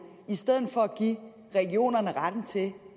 i stedet for at give regionerne retten til